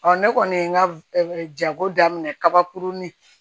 ne kɔni ye n ka jago daminɛ kabakurun ni